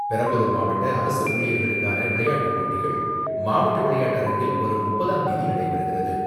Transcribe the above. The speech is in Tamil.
பெரம்பலூர் மாவட்ட அரசு ஊழியர்களுக்கான விளையாட்டுப் போட்டிகள் மாவட்ட விளையாட்டரங்கில் வரும் முப்பதாம் தேதி நடைபெறுகிறது.